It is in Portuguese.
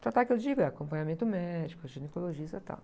Tratar, que eu digo, é acompanhamento médico, ginecologista e tal.